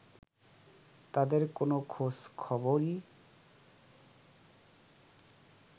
তাদের কোনো খোঁজ খবরই